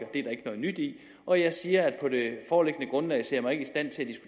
noget nyt i og jeg siger at på det foreliggende grundlag ser